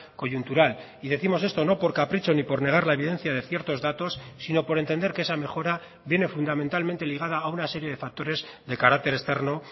coyuntural y décimos esto no por capricho ni por negar la evidencia de ciertos datos sino por entender que esa mejora viene fundamentalmente ligada a una serie de factores de carácter externo